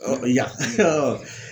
Ɔ Yan